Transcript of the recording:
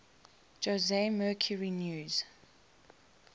jose mercury news